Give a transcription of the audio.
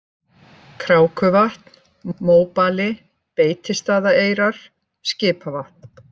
Krákuvatn, Móbali, Beitistaðaeyrar, Skipavatn